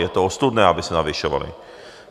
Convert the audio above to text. Je to ostudné, aby se navyšovaly!